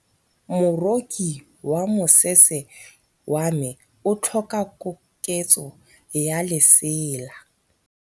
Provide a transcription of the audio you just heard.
Moroki wa mosese wa me o tlhoka koketsô ya lesela.